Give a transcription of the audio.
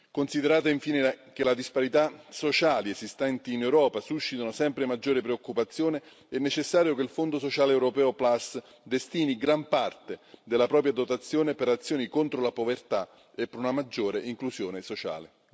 Considerando infine che le disparità sociali esistenti in Europa suscitano sempre maggiore preoccupazione, è necessario che il Fondo sociale europeo Plus destini gran parte della propria dotazione per azioni contro la povertà e per una maggiore inclusione sociale.